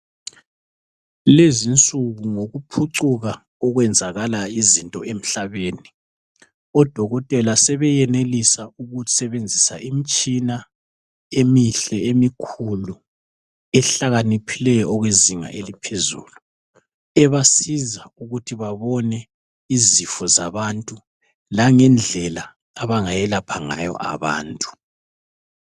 Lezi insuku ngokuphucuka okwenzakala yizinto emhlabeni. Odokotela sebeyenelisa ukusebenzisa imitshina emihle emikhulu ehlakaniphileyo okwezinga eliphezulu, ebasiza ukuthi babone izifo zabantu langendlela abangayelapha ngayo abantu.